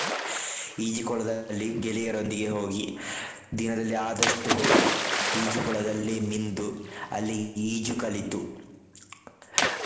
ಈಜುಕೊಳದಲ್ಲಿ ಗೆಳೆಯರೊಂದಿಗೆ ಹೋಗಿ ದಿನದಲ್ಲಿ ಆದಷ್ಟು ಹೊತ್ತು ಈಜುಕೊಳದಲ್ಲಿ ಮಿಂದು ಅಲ್ಲಿ ಈಜು ಕಲಿತು.